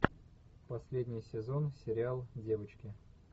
последний сезон сериал девочки